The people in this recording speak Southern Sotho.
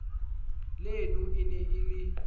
leno e ne e le